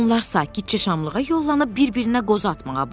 Onlar sakitcə şamlığa yollanıb bir-birinə qozu atmağa başladılar.